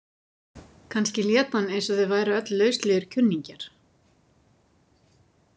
Kannski lét hann eins og þau væru öll lauslegir kunningjar.